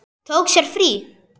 Tók sér frí.